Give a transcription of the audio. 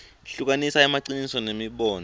hlukanisa emaciniso nemibono